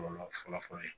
Kɔlɔlɔ fɔlɔfɔlɔ ye